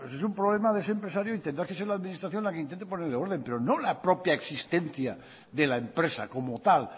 pues eso es un problema de ese empresario y tendrá que ser la administración la que intente ponerle orden pero no la propia existencia de la empresa como tal